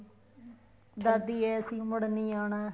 ਦਾਦੀ ਏ ਅਸੀਂ ਮੁੜ ਨਹੀਂ ਆਉਣਾ